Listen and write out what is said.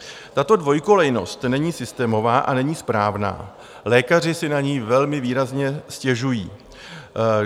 Tato dvoukolejnost není systémová a není správná, lékaři si na ni velmi výrazně stěžují.